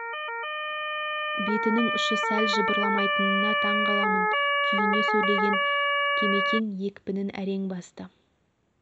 бетінің ұшы сәл жыбырламайтынына таң қаламын күйіне сөйлеген кемекең екпінін әрең басты